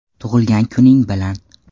Tug‘ilgan kuning bilan!